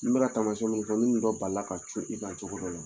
I maa na taamasiyen min dɔ, n'in dɔ balila ka jun i ka cogo dɔ la